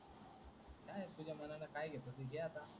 काय तुझ्या मनान काय घेतो ते घे आता